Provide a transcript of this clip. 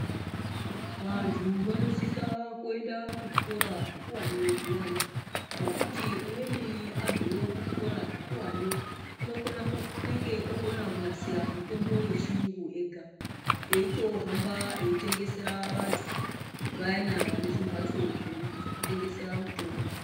Vantu vanosisa kuenda ku zvikora zvikuwani zviyana nekuti umweni abveyo ku zvikora zvikuwani unenge okona kunasira mutombo ye chiyungu ega eyito hamba eyi tengesera vantu vayana vane zvimbatso zveku tengesera mutombo.